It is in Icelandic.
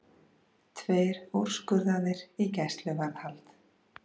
Tveir úrskurðaðir í gæsluvarðhald